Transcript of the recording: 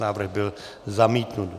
Návrh byl zamítnut.